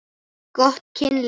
Gott kynlíf.